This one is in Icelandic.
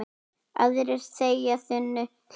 Aðrir þegja þunnu hljóði.